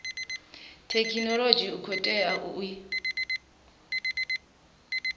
thekhinolodzhi u khou tea u